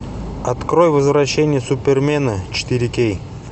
открой возвращение супермена четыре кей